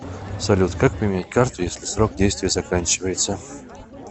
салют как поменять карту если срок действия заканчивается